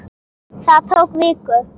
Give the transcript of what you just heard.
Það tók viku.